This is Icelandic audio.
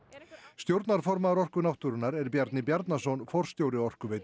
stjórnarformaður Orku náttúrunnar er Bjarni Bjarnason forstjóri Orkuveitu